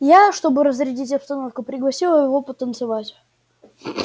я чтобы разрядить обстановку пригласила его потанцевать